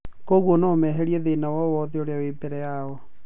Koguo no meherie thĩna wowothe ũrĩa we mbere yao.